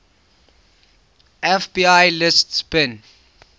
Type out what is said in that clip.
fbi lists bin